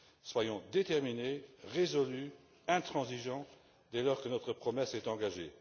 Soyons déterminés, résolus, intransigeants dès lors que notre promesse est engagée.